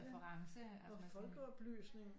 Reference at man sådan